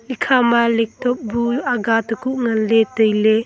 ekha ma laptop bu aga tekuh ngan ley tai ley.